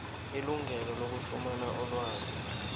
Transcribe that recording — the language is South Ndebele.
ilungelo lokufumana ilwazi